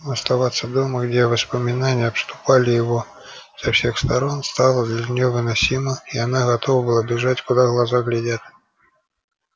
но оставаться дома где воспоминания обступали его со всех сторон стало для неё невыносимо и она готова была бежать куда глаза глядят